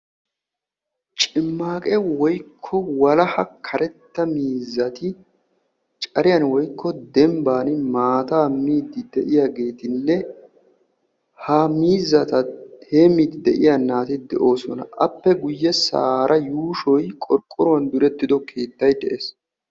Cimaaqqe woykko walaha karetta miizzati cariyan woykko dembban maataa miiddi de'iyageetinne ha miizzata heemmidi de'iya naati de'oosona. Appe guyessaara yuushshoy qorqqoruwan direttiddo keettay de'ees.